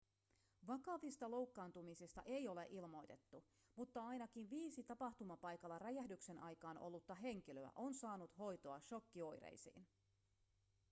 vakavista loukkaantumisista ei ole ilmoitettu mutta ainakin viisi tapahtumapaikalla räjähdyksen aikaan ollutta henkilöä on saanut hoitoa shokkioireisiin